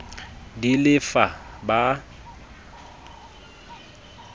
d e le f ba